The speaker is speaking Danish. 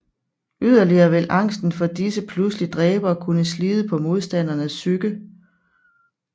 Yderligere vil angsten for disse pludselige dræbere kunne slide på modstandernes psyke